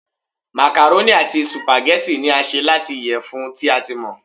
màkàrónì ati sùpàgẹ́tì ni a ṣe lati iyẹfun ti a ti mọ